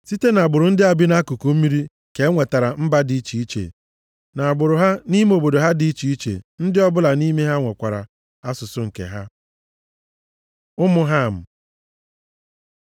(Site nʼagbụrụ ndị a bi nʼakụkụ mmiri ka e nwetara mba dị iche iche, nʼagbụrụ ha nʼime obodo ha dị iche iche, ndị ọbụla nʼime ha nwekwara asụsụ nke ha.) Ụmụ Ham